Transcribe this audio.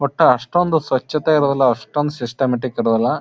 ಒಟ್ಟ ಅಷ್ಟೊಂದು ಸ್ವಚ್ಛತೆ ಇರುದಿಲ್ಲ ಅಷ್ಟೊಂದ ಸಿಸ್ಟಮ್ಯಾಟಿಕ್ ಇರುದಿಲ್ಲ.